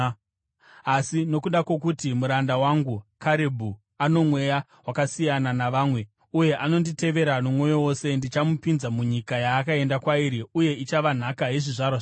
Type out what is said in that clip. Asi nokuda kwokuti muranda wangu Karebhu ano mweya wakasiyana navamwe uye anonditevera nomwoyo wose, ndichamupinza munyika yaakaenda kwairi, uye ichava nhaka yezvizvarwa zvake.